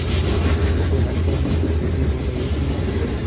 उसके हृदय में गुदगुदी हो रही थी